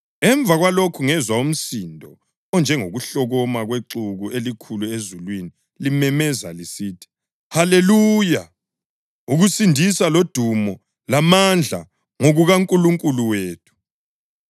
Emva kwalokhu ngezwa umsindo onjengokuhlokoma kwexuku elikhulu ezulwini limemeza lisithi: “Haleluya! Ukusindisa lodumo lamandla ngokukaNkulunkulu wethu